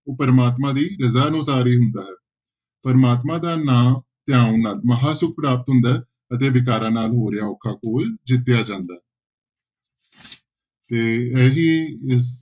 ਉਹ ਪ੍ਰਮਾਤਮਾ ਦੀ ਰਜ਼ਾ ਅਨੁਸਾਰ ਹੀ ਹੁੰਦਾ ਹੈ, ਪ੍ਰਮਾਤਮਾ ਦਾ ਨਾਂ ਧਿਆਉਣ ਨਾਲ ਮਹਾਂਸੁੱਖ ਪ੍ਰਾਪਤ ਹੁੰਦਾ ਹੈ ਅਤੇ ਵਿਕਾਰਾਂ ਨਾਲ ਹੋ ਰਿਹਾ ਔਖਾ ਘੋਲ ਜਿੱਤਿਆ ਜਾਂਦਾ ਹੈੈ ਤੇ ਇਹੀ ਇਸ